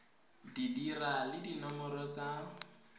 di dira le dinomoro tsa